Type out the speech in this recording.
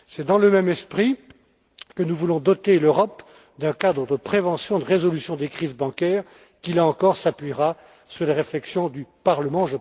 C'est dans le même esprit que nous voulons doter l'Europe d'un cadre de prévention de résolution des crises bancaires qui, là encore, s'appuiera sur les réflexions du Parlement.